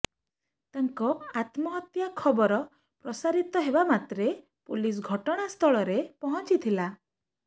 ତାଙ୍କ ଆତ୍ମହତ୍ୟା ଖବର ପ୍ରସାରିତ ହେବାମାତ୍ରେ ପୋଲିସ ଘଟଣାସ୍ଥଳରେ ପହଞ୍ଚିଥିଲା